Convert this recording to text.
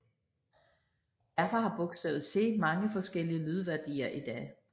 Derfor har bogstavet C mange forskellige lydværdier i dag